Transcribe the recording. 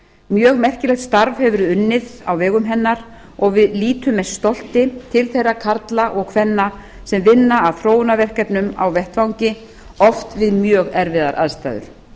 mjög merkilegt starf hefur verið unnið á vegum hennar og við lítum með stolti til þeirra karla og kvenna sem vinna að þróunarverkefnunum á vettvangi oft við mjög erfiðar aðstæður